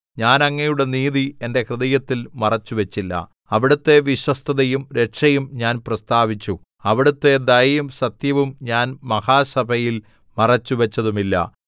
ഞാൻ അങ്ങയുടെ നീതി എന്റെ ഹൃദയത്തിൽ മറച്ചു വച്ചില്ല അവിടുത്തെ വിശ്വസ്തതയും രക്ഷയും ഞാൻ പ്രസ്താവിച്ചു അവിടുത്തെ ദയയും സത്യവും ഞാൻ മഹാസഭയിൽ മറച്ചുവച്ചതുമില്ല